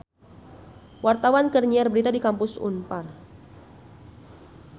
Wartawan keur nyiar berita di Kampus Unpar